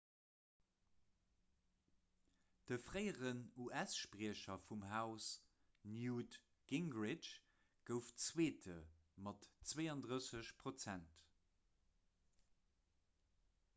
de fréieren us-spriecher vum haus newt gingrich gouf zweete mat 32 prozent